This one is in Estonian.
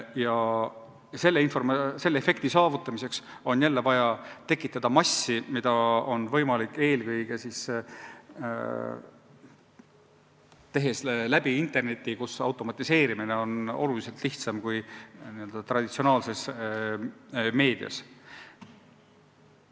Ja selle efekti saavutamiseks on jälle vaja taha massi, mida on võimalik eelkõige saavutada interneti abil, kus automatiseerimine on märksa lihtsam kui n-ö traditsioonilises meedias.